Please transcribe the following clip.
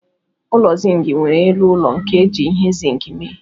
Ụlọ Zink nwere elu ụlọ nke eji ihe zink mee.